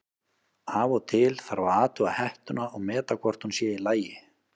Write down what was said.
Af og til þarf að athuga hettuna og meta hvort hún sé í lagi.